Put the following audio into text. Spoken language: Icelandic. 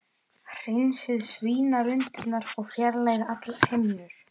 Hreinsið svínalundirnar og fjarlægið allar himnur.